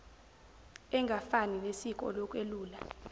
engafani nesiko lokwelula